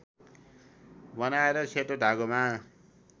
बनाएर सेतो धागोमा